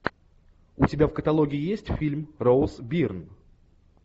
у тебя в каталоге есть фильм роуз бирн